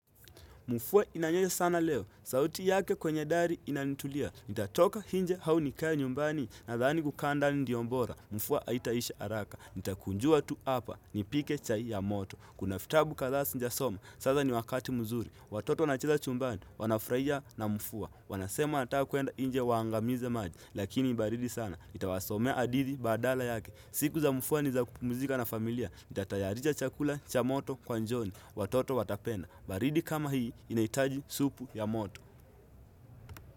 Mufuwa inanyesa sana leo. Sauti yake kwenye dari inanitulia. Nitatoka hinje hau nikae nyumbani nadhani kukaa ndani dio mbora. Mufuwa haitaisha araka. Nitakunjua tu apa. Nipike chai ya moto. Kuna fitabu kadhaa sinjasoma. Sasa ni wakati muzuri. Watoto wanacheza chumbani. Wanafraia na mufuwa. Wanasema ataka kuenda inje waangamize maji. Lakini baridi sana. Nitawasomea adithi baadala yake. Siku za mufuwa ni za kupumuzika na familia. Nitatayarija chakula cha moto kwa njioni. Watoto watapenda. Baridi kama hii inaitaji supu ya moto.